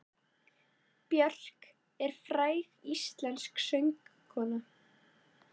Björk er fræg íslensk söngkona.